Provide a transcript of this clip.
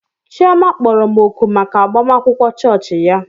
Chioma kpọrọ m òkù maka agbamakwụkwọ chọọchị ya.